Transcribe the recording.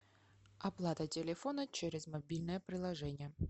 оплата телефона через мобильное приложение